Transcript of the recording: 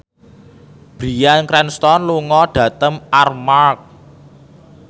Bryan Cranston lunga dhateng Armargh